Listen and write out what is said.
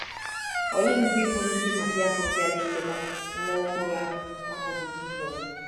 Ole ndị bụ ndị Magi ahụ bịara ileta nwa ọhụrụ ahụ bụ́ Jizọs?